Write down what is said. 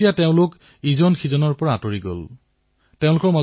একধৰণে অন্য শিশুৰ সৈতে সেই শিশুটো পৃথকে থাকিবলৈ ললে